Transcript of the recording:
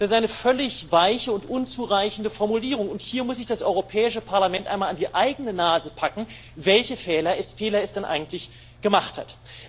Das ist eine völlig weiche und unzureichende Formulierung, und hier muss sich das Europäische Parlament einmal an die eigene Nase packen, welche Fehler es denn eigentlich gemacht hat.